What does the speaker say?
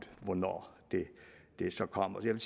hvornår det så kommer jeg vil